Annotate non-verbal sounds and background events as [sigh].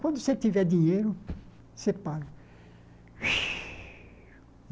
Quando você tiver dinheiro, você paga. [sighs]